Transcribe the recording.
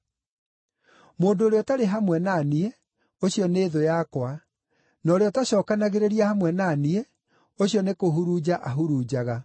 “Mũndũ ũrĩa ũtarĩ hamwe na niĩ, ũcio nĩ thũ yakwa, na ũrĩa ũtacookanagĩrĩria hamwe na niĩ, ũcio nĩ kũhurunja ahurunjaga.